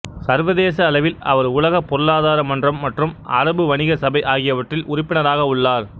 சர்வதேச அளவில் அவர் உலக பொருளாதார மன்றம் மற்றும் அரபு வணிக சபை ஆகியவற்றில் உறுப்பினராக உள்ளார்